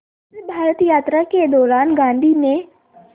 इस भारत यात्रा के दौरान गांधी ने